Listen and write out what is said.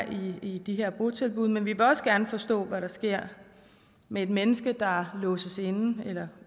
i de her botilbud men vi vil også gerne forstå hvad der sker med et menneske der låses inde eller